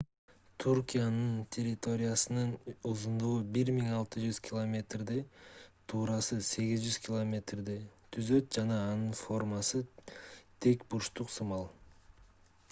туркиянын территориясынын узундугу 1600 километрди 1000 миля туурасы 800 километрди 500 миля түзөт жана анын формасы тик бурчтук сымал